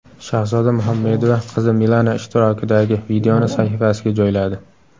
Shahzoda Muhammedova qizi Milana ishtirokidagi videoni sahifasiga joyladi.